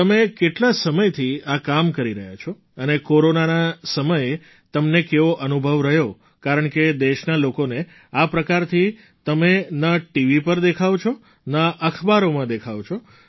તમે કેટલા સમયથી આ કામ કરી રહ્યા છો અને કોરોનાના સમયે તમને કેવો અનુભવ રહ્યો કારણકે દેશના લોકોને આ પ્રકારથી તમે ન ટીવી પર દેખાઓ છો ન અખબારમાં દેખાવો છો